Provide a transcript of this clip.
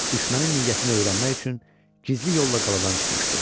Düşmənin niyyətini öyrənmək üçün gizli yolla qaladan çıxmışdı.